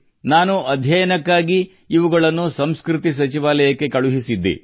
ನಾನು ಅಧ್ಯಯನಕ್ಕೆ ಇವುಗಳನ್ನು ಸಂಸ್ಕೃತಿ ಸಚಿವಾಲಯಕ್ಕೆ ಕಳುಹಿಸಿದ್ದೆ